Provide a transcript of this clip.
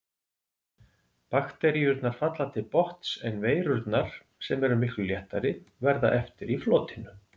Bakteríurnar falla til botns en veirurnar, sem eru miklu léttari, verða eftir í flotinu.